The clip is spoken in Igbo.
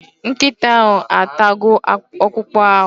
Nkịta ahụ atago okpụkpụ ahụ